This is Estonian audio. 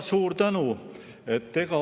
Suur tänu!